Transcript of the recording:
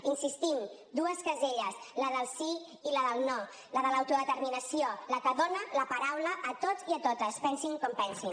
hi insistim dues caselles la del sí i la del no la de l’autodeterminació la que dona la paraula a tots i a totes pensin com pensin